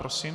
Prosím.